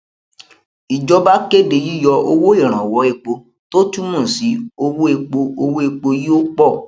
ìjọba kéde yíyọ owó ìrànwọ epo tó túmọ sí owó epo owó epo yóó pọ